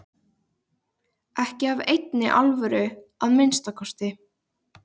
Ekki af neinni alvöru að minnsta kosti.